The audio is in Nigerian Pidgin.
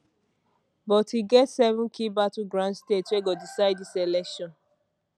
but e get seven key battleground states wey go decide dis election